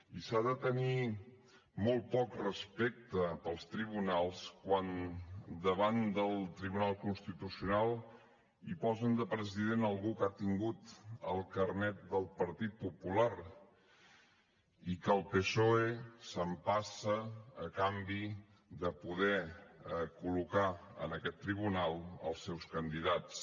i s’ha de tenir molt poc respecte pels tribunals quan davant del tribunal constitucional hi posen de president algú que ha tingut el carnet del partit popular i que el psoe s’empassa a canvi de poder col·locar en aquest tribunal els seus candidats